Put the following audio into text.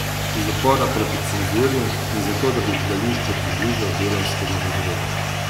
Iz upora proti cenzuri in zato, da bi gledališče približal delavskemu razredu.